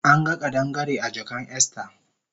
Anga kadangare a jakan Esther